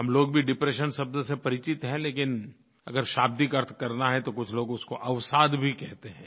हम लोग भी डिप्रेशन शब्द से परिचित हैं लेकिन अगर शाब्दिक अर्थ करना है तो कुछ लोग उसको अवसाद भी कहते हैं